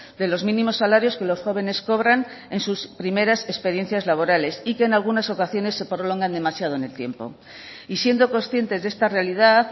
de los mínimos salarios que los jóvenes cobran en sus primeras experiencias laborales y que en algunas ocasiones se prolongan demasiado en el tiempo y siendo conscientes de esta realidad